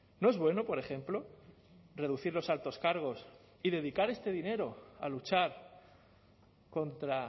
no es bueno por ejemplo reducir los altos cargos y dedicar este dinero a luchar contra